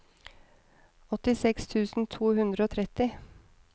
åttiseks tusen to hundre og tretti